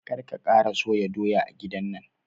Kar ka kara soya doya a gidan nan!